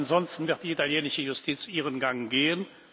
Ansonsten wird die italienische Justiz ihren Gang gehen.